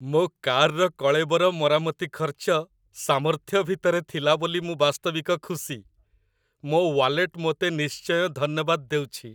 ମୋ କାର୍‌ର କଳେବର ମରାମତି ଖର୍ଚ୍ଚ ସାମର୍ଥ୍ୟ ଭିତରେ ଥିଲା ବୋଲି ମୁଁ ବାସ୍ତବିକ ଖୁସି, ମୋ ୱାଲେଟ୍ ମୋତେ ନିଶ୍ଚୟ ଧନ୍ୟବାଦ ଦେଉଛି!